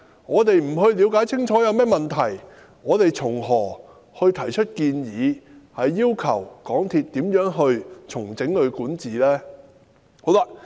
我們不了解清楚有甚麼問題，又從何提出建議，要求港鐵公司重整管治？